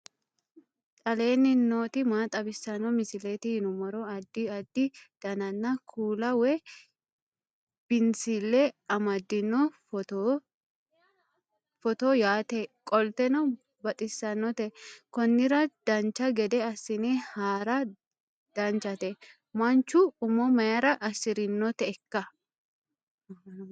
aleenni nooti maa xawisanno misileeti yinummoro addi addi dananna kuula woy biinsille amaddino footooti yaate qoltenno baxissannote konnira dancha gede assine haara danchate manchu umo mayra assirinoteikka